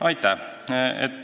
Aitäh!